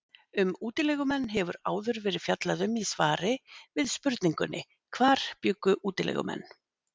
Um útilegumenn hefur áður verið fjallað um í svari við spurningunni Hvar bjuggu útilegumenn?